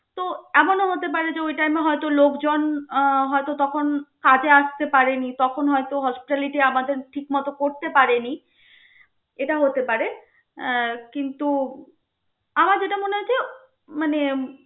তো এমনও হতে পারে যে, ওই time এ হয়ত লোক জন আহ হয়ত তখন কাজে আসতে পারেনি, তখন হয়ত hospitality আমাদের ঠিক মত করতে পারেনি. এটা হতে পারে, আহ কিন্তু আমার যেটা মনে হয়েছে মানে